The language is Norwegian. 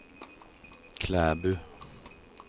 Klæbu